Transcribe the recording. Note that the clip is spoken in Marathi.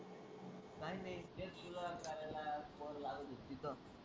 काय नाही तेच तुला करायला लावत होती तिथं.